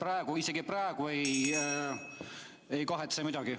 Praegu te isegi ei kahetse ju midagi.